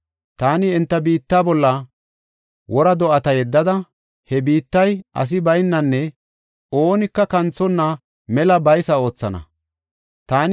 “Taani enta biitta bolla wora do7ata yeddada, he biittay asi baynanne oonika kanthonna mela he biitta baysa oothana.